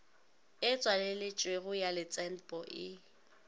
e tswaleletšwego ya letsenpo e